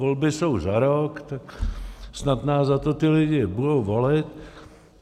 Volby jsou za rok, tak snad nás za to ti lidé budou volit.